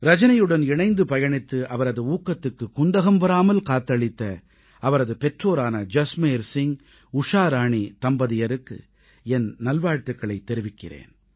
ரஜனியுடன் இணைந்து பயணித்து அவரது ஊக்கத்துக்குக் குந்தகம் வராமல் காத்தளித்த அவரது பெற்றோரான ஜஸ்மேர் சிங்உஷா ராணி தம்பதியருக்கும் என் நல்வாழ்த்துக்களைத் தெரிவிக்கிறேன்